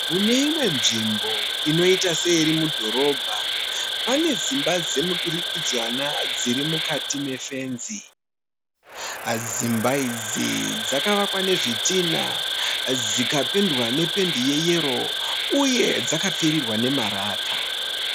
Mune imwe nzvimbo inoita seiri mudhorobha. Pane dzimba dzemuturikidzanwa dzirimukati mefenzi. Dzimba idzi dzakavakwa nezvitinha dzikapendwa nependi yeyero uye dzakapfirirwa nemarata.